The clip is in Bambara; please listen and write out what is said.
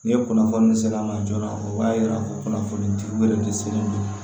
Ni kunnafoni sela ma joona o b'a yira ko kunnafoni di wɛrɛ de selen